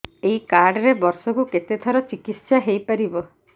ଏଇ କାର୍ଡ ରେ ବର୍ଷକୁ କେତେ ଥର ଚିକିତ୍ସା ହେଇପାରିବ